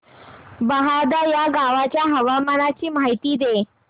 बहादा या गावाच्या हवामानाची माहिती दे